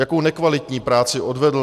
Jakou nekvalitní práci odvedl?